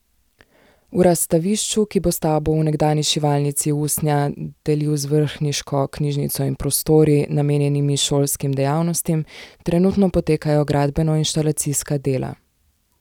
V razstavišču, ki bo stavbo v nekdanji šivalnici usnja delil z vrhniško knjižnico in prostori, namenjenimi šolskim dejavnostim, trenutno potekajo gradbeno inštalacijska dela.